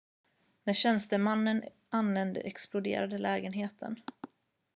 när tjänstemannen anlände exploderade lägenheten